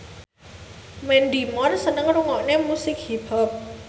Mandy Moore seneng ngrungokne musik hip hop